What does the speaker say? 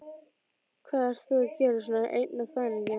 Hvað ert þú að gera svona einn á þvælingi?